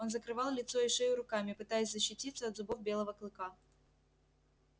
он закрывал лицо и шею руками пытаясь защититься от зубов белого клыка